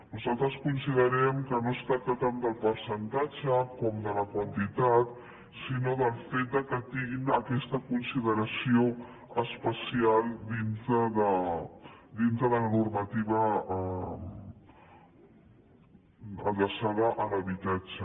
nosaltres considerem que no es tracta tant del percentatge com de la quantitat sinó del fet que tinguin aquesta consideració especial dintre de la normativa adreçada a l’habitatge